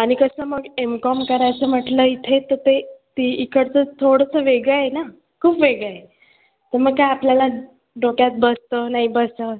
आणि कसं मग Mcom करायचं म्हंटल इथे तर ते इकडचं थोडंसं वेगळं आहे ना खूप वेगळं आहे तर ते आपल्याला डोक्यात बसतं नाही बसतं.